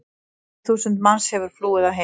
Eitt þúsund manns hefur flúið að heiman.